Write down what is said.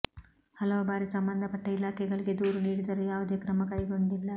ಹಲವು ಬಾರಿ ಸಂಬಂಧಪಟ್ಟ ಇಲಾಖೆಗಳಿಗೆ ದೂರು ನೀಡಿದರೂ ಯಾವುದೇ ಕ್ರಮ ಕೈಗೊಂಡಿಲ್ಲ